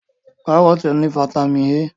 Kárọ́tì ní fataímìn A.